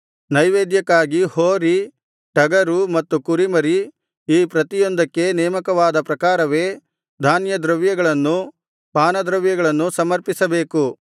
ನೈವೇದ್ಯಕ್ಕಾಗಿ ಹೋರಿ ಟಗರು ಮತ್ತು ಕುರಿಮರಿ ಈ ಪ್ರತಿಯೊಂದಕ್ಕೆ ನೇಮಕವಾದ ಪ್ರಕಾರವೇ ಧಾನ್ಯದ್ರವ್ಯಗಳನ್ನೂ ಪಾನದ್ರವ್ಯಗಳನ್ನೂ ಸಮರ್ಪಿಸಬೇಕು